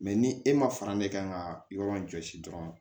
ni e ma fara ne kan ka yɔrɔ jɔsi dɔrɔn